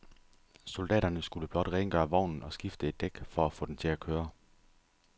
Soldaterne skulle blot rengøre vognen og skifte et dæk for at få den til at køre.